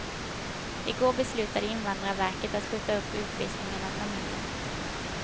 I går beslutade invandrarverket att skjuta upp utvisningen av familjen.